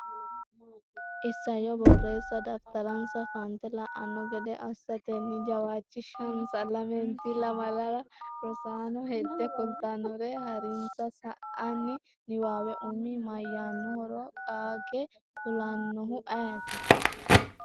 Isayyo Borreessa daftaransa fante la’anno gede assatenni jawaachishinsa. Lamente lamalara Rosaano hedde kultannohere haa’rinsa. sa’ini niwaawe umi mayyaannohoro qaage kulanno’ehu ayeeti?